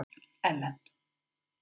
Ellen